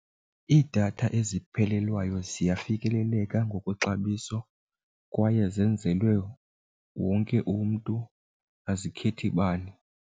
Iidatha eziphelelwayo ziyafikeleleka ngokwexabiso kwaye zenzelwe wonke umntu, azikhethi bani.